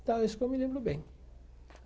Então, é isso que eu me lembro bem.